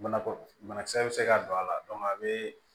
Banakɔ banakisɛ bɛ se ka don a la a bɛ